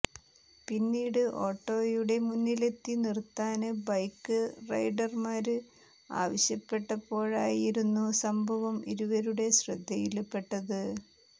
പിന്നിട് ഓട്ടോയുടെ മുന്നിലെത്തി നിര്ത്താന് ബൈക്ക് റെഡര്മാര് ആവശ്യപ്പെട്ടപ്പോഴായിരുന്നു സംഭവം ഇവരുടെ ശ്രദ്ധയില്പ്പെട്ടത്